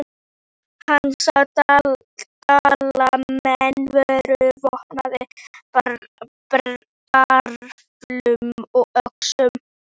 Hann sá að Dalamenn voru vopnaðir bareflum og öxum.